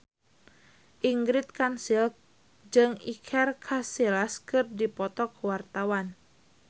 Ingrid Kansil jeung Iker Casillas keur dipoto ku wartawan